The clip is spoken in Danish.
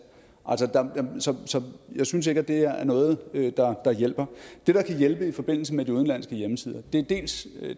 så jeg synes ikke det er noget der hjælper det der kan hjælpe i forbindelse med de udenlandske hjemmesider er dels